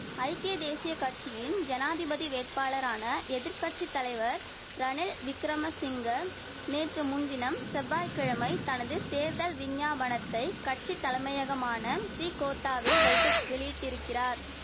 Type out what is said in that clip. ஐக்கிய தேசிய கட்சியின் ஜனாதிபதி வேட்பாளரான எதிர் கட்சி தலைவர் ரணில் விக்கிரமசிங்க நேற்று முன்தினம் செவ்வாய் கிழமை தனது தேர்தல் விஞ்ஞாபனத்தை கட்சி தலமையகமான ஸ்ரீகோத்தாவில் வைத்து வெளியிட்டிருக்கிறார்